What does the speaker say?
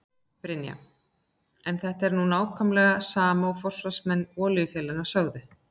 Brynja: En þetta er nú nákvæmlega sama og forsvarsmenn olíufélaganna sögðu?